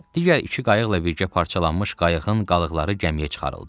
Digər iki qayıqla birgə parçalanmış qayıqın qalıqları gəmiyə çıxarıldı.